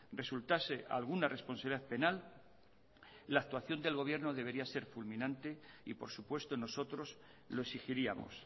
resultase alguna responsabilidad penal la actuación del gobierno debería ser fulminante y por supuesto nosotros lo exigiríamos